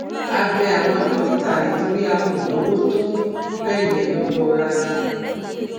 a bẹ àwọn dókítà nítorí a kò lówó tó tọ bẹẹ yẹn lọwọ rárá